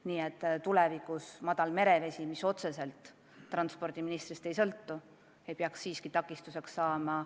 Nii et tulevikus ei tohiks madal merevesi, mis otseselt transpordiministrist ei sõltu, laevaühendust takistada.